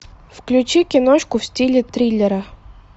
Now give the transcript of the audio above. включи киношку в стиле триллера